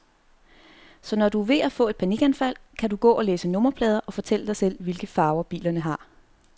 Så når du er ved at få et panikanfald, kan du gå og læse nummerplader, fortælle dig selv, hvilke farver bilerne har.